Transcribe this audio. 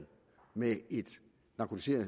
med et